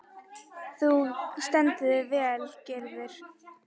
Þú stendur þig vel, Gyrðir!